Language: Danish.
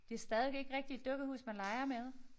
Det stadig ikke rigtig et dukkehus man leger med